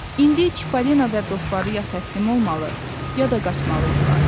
İndi Çipollino və dostları ya təslim olmalı, ya da qaçmalıydılar.